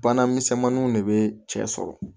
Bana misɛnmaninw de bɛ cɛ sɔrɔ